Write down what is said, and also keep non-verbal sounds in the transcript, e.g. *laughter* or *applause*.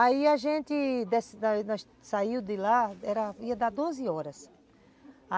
Aí a gente *unintelligible* saiu de lá, ia dar doze horas.